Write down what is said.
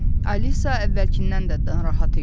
Alisa əvvəlkindən də narahat idi.